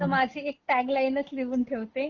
मी आपली एक मासिक टॅग लाईनच लिहून ठेवते.